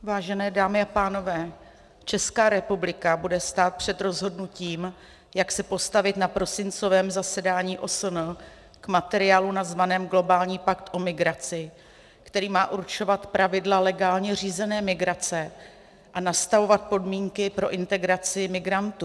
Vážené dámy a pánové, Česká republika bude stát před rozhodnutím, jak se postavit na prosincovém zasedání OSN k materiálu nazvanému globální pakt o migraci, který má určovat pravidla legálně řízené migrace a nastavovat podmínky pro integraci migrantů.